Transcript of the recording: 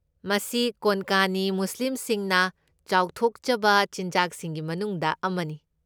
ꯃꯁꯤ ꯀꯣꯟꯀꯅꯤ ꯃꯨꯁꯂꯤꯝꯁꯤꯡꯅ ꯆꯥꯎꯊꯣꯛꯆꯕ ꯆꯤꯟꯖꯥꯛꯁꯤꯡꯒꯤ ꯃꯅꯨꯡꯗ ꯑꯃꯅꯤ꯫